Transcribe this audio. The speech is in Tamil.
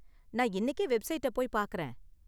நான் இன்னிக்கே வெப்சைட்ட போய் பார்க்கிறேன்.